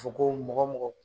Fɔ ko mɔgɔ mɔgɔ